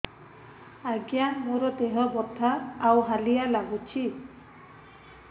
ଆଜ୍ଞା ମୋର ଦେହ ବଥା ଆଉ ହାଲିଆ ଲାଗୁଚି